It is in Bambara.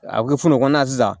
A bɛ kɛ fu la o kɔnɔna sisan